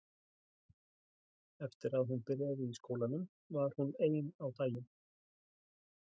Eftir að hún byrjaði í skólanum var hún ein á daginn.